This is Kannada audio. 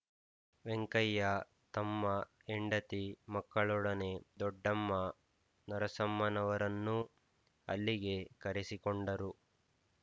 ವೆಂಕಯ್ಯ ತಮ್ಮ ಹೆಂಡತಿ ಮಕ್ಕಳೊಡನೆ ದೊಡ್ಡಮ್ಮ ನರಸಮ್ಮನವರನ್ನೂ ಅಲ್ಲಿಗೆ ಕರೆಸಿಕೊಂಡರು